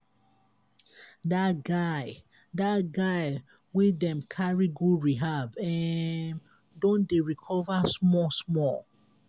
dat guy dat guy wey dem carry go rehab um don dey recover small-small.